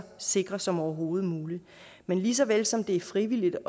sikre som overhovedet muligt men lige så vel som det er frivilligt